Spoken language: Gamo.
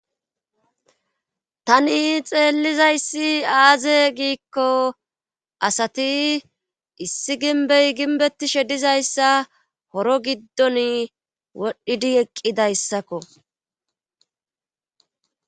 Tani xeellizayssi aaze giikko asati issi ginbey ginbettishe dizayssa horo giddon wodhdhidi eqqidayssakko.